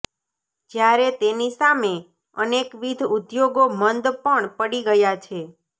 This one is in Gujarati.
જયારે તેની સામે અનેકવિધ ઉધોગો મંદ પણ પડી ગયા છે